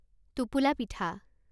টোপোলা পিঠা